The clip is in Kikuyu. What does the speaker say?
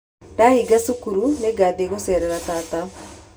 Ndahinga cukuru, nĩ ngathiĩ gũceerera tata.